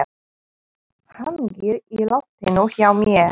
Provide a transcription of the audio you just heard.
Hangir í loftinu hjá mér.